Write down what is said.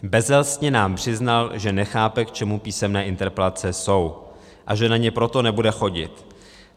Bezelstně nám přiznal, že nechápe, k čemu písemné interpelace jsou, a že na ně proto nebude chodit.